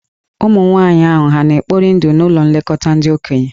Ụmụ nwaanyị ndị ahụ hà na-ekpori ndụ n'ụlọ nlekọta ndị okenye?